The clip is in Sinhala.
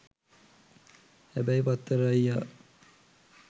හැබැයි පත්තර අයියා